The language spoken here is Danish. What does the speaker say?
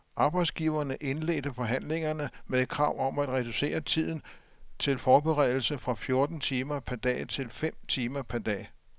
Arbejdsgiverne indledte forhandlingerne med et krav om at reducere tiden til forberedelse fra fjorten timer per dag til fem timer per dag.